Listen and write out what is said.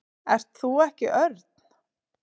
Ert þú ekki Örn?